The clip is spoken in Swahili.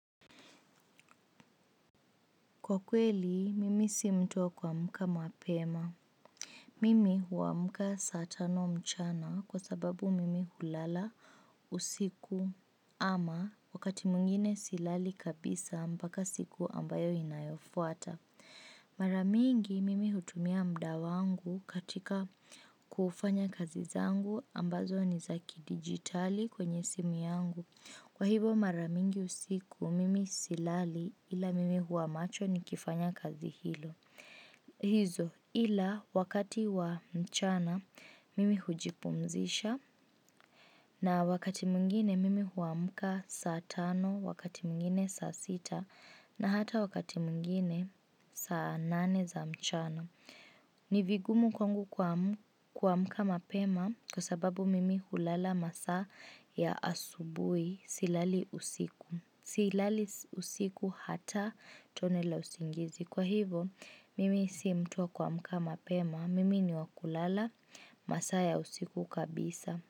Kwa kweli, mimi si mtu wa kuamka mapema. Mimi huamka saa tano mchana kwa sababu mimi hulala usiku ama wakati mwingine silali kabisa mpaka siku inayofuata mara mingi mimi hutumia muda wangu katika kufanya kazi zangu ambazo ni za kidigitali kwenye simu yangu kwa hivo mara mingi usiku, mimi silali ila mimi huwa macho nikifanya kazi hili. Hizo ila wakati wa mchana mimi hujipumzisha na wakati mwingine mimi huamka saa tano, wakati mwingine saa sita na hata wakati mwingine saa nane za mchana. Ni vigumu kwangu kuamka mapema kwa sababu mimi hulala maasa ya asubuhi silali usiku hata tone la usingizi. Kwa hivo mimi si mtu wa kuamka mapema mimi ni wa kulala maasa ya usiku kabisa.